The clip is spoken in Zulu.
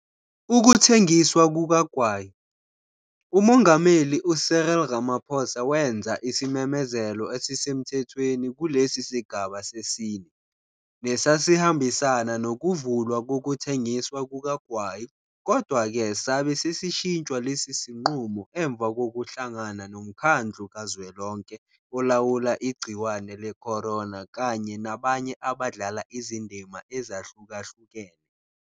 Ukuthengiswa kukagwayi. UMongameli u-Cyril Ramaphosa wenza isimemezelo esisemthethweni kulesi sigaba sesine, nesasihambisana nokuvulwa kokuthengiswa kukagwayi kodwa-ke sabe sesishintshwa lesi sinqumo emva kokuhlangana noMkhandlu KaZwelonke Olawula Igciwane le-corona kanye nabanye abadlala izindima ezahlukahlukene.